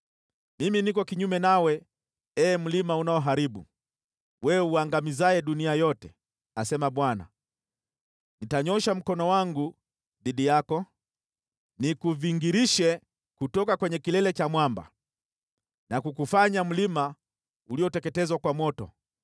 “Mimi niko kinyume nawe, ee mlima unaoharibu, wewe uangamizaye dunia yote,” asema Bwana . “Nitanyoosha mkono wangu dhidi yako, nikuvingirishe kutoka kwenye kilele cha mwamba, na kukufanya mlima ulioteketezwa kwa moto.